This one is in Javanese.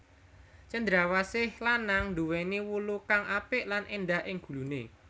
Cendrawsih lanang nduwèni wulu kang apik lan éndah ing guluné